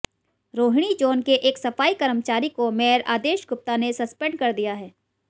Rohini zone के एक सफाई कर्मचारी को मेयर आदेश गुप्ता ने सस्पेंड कर दिया है